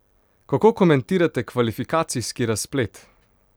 Kako komentirate kvalifikacijski razplet?